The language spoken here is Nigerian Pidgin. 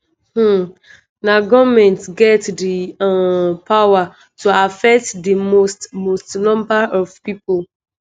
um na goment get di um power to affect di most most number of pipo."